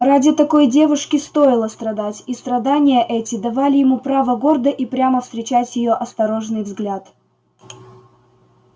ради такой девушки стоило страдать и страдания эти давали ему право гордо и прямо встречать её осторожный взгляд